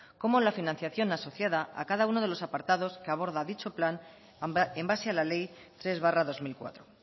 como la financiación asociada a cada uno de los apartados que aborda dicha plan en base a la ley tres barra dos mil cuatro